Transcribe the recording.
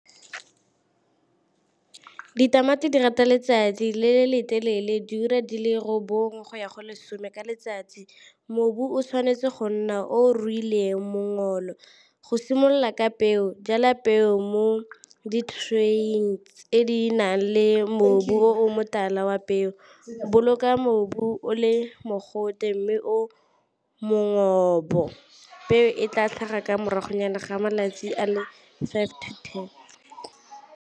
Ditamati di rata letsatsi le le telele diura di le robongwe go ya go lesome ka letsatsi. Mobu o tshwanetse go nna o ruileng . Go simolola ka peo jala peo mo di tray-ing tse di nang le mobu o motala wa peo, boloka mobu o le mogote mme o , peo e tla tlhaga ka morago nyana ga malatsi a le five to ten.